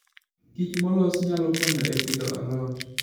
kich molos nyalo konyo e pidho alot.